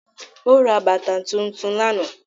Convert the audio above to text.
Ó ra bàtà tuntun lánàá